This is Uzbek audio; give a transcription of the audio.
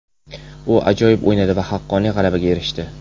U ajoyib o‘ynadi va haqqoniy g‘alabaga erishdi.